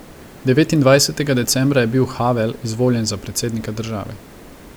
Devetindvajsetega decembra je bil Havel izvoljen za predsednika države.